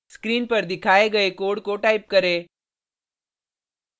screen पर दिखाई गये कोड को टाइप करें